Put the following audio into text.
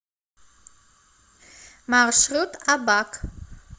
маршрут абак